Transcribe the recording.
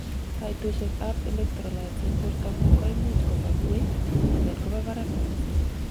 kaitosiek ab electrolytes en bortangung koimuch kobwa ngweny anan koba barak missing